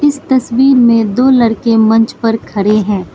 इस तस्वीर में दो लड़के मंच पर खड़े हैं।